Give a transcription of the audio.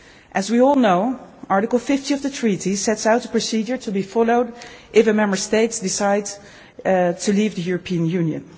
way. As we all know, Article 50 of the Treaty sets out the procedure to be followed if a Member State decides to leave the European